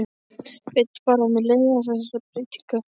Veit bara að mér leiðast þessar breytingar.